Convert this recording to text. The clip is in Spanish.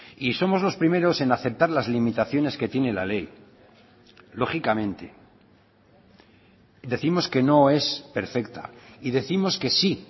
y somos los primeros en aceptar las limitaciones que tiene la ley lógicamente decimos que no es perfecta y décimos que sí